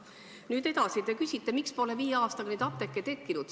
Nüüd edasi: te küsite, miks pole viie aastaga neid apteeke tekkinud.